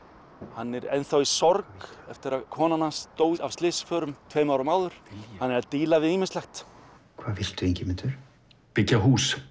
hann er enn þá í sorg eftir að konan hans dó af slysförum tveimur árum áður hann er að díla við ýmislegt hvað viltu Ingimundur byggja hús